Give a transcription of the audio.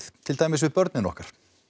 til dæmis við börnin okkar